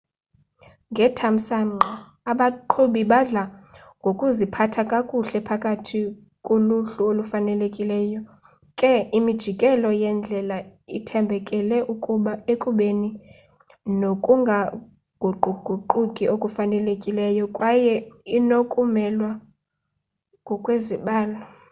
ngethamsanqa abaqhubi badla ngokuziphatha kakuhle phakathi kuluhlu olufanelekileyo ke imijelo yendlela ithambekele ekubeni nokungaguquguquki okufanelekileyo kwaye inokumelwa ngokwezibalo